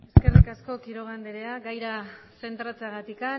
eskerrik asko señora quiroga andrea gaira zentratzeagatik